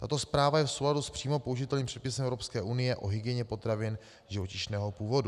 Tato úprava je v souladu s přímo použitelným předpisem EU o hygieně potravin živočišného původu.